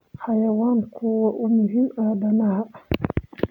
Xayawaanku waa u muhiim aadanaha.